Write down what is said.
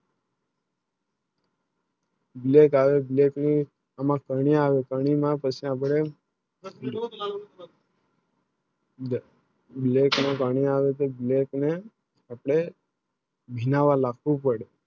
Black આવે Black ની એમાં કંઈ આવે કંઈ અપને Black ને પાણી આવે Black ની અપને ઘીનાવા રાખું પડે